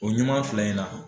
O fila in na